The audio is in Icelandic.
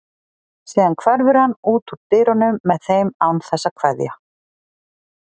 Síðan hverfur hann út úr dyrunum með þeim án þess að kveðja.